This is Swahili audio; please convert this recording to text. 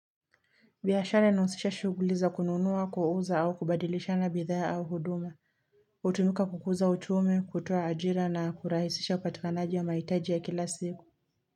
Biashara inahusisha shughuli za kununua, kuuza au kubadilishana bidhaa au huduma Hutumika kukuza uchumi, kutoa ajira na kurahisisha upatikanaji wa mahitaji ya kila siku.